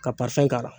Ka k'a la